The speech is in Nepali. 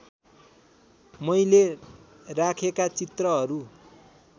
मैले राखेका चित्रहरू